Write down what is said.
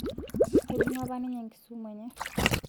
Eibung'a apa ninye enkisumu enye